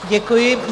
Děkuji.